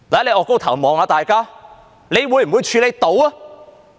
你抬高頭看看大家，你能否處理？